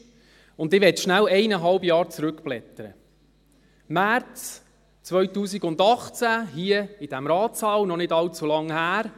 Ich möchte schnell um eineinhalb Jahre zurückblättern – März 2018, hier in diesem Ratssaal, noch nicht allzu lange her.